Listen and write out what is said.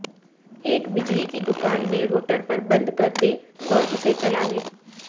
ایک بجلی کی دکان میں روٹر پر بند کر دیں اور اسے چلانے